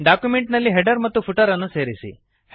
document ನಲ್ಲಿ header ಮತ್ತು footer ಅನ್ನು ಸೇರಿಸಿ